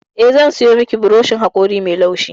Eh, zan sayo miki burushin haƙori mai laushi ba.